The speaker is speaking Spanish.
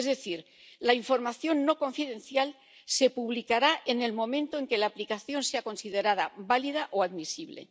es decir, la información no confidencial se publicará en el momento en que la aplicación sea considerada válida o admisible.